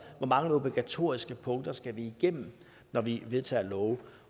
hvor mange obligatoriske punkter vi skal igennem når vi vedtager love